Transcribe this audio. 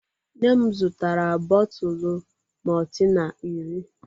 Nne m zụtara bọtụlụ maltina iri.